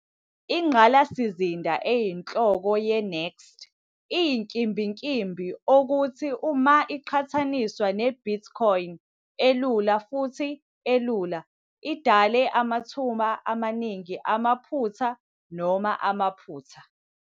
Ingqalasizinda eyinhloko ye-NXT iyinkimbinkimbi, okuthi, uma iqhathaniswa ne- Bitcoin elula futhi elula, idale amathuba amaningi amaphutha noma amaphutha.